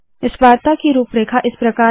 इस वार्ता की रुपरेखा इस प्रकार है